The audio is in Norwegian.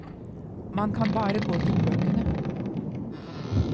Man kan bare gå til bøkene.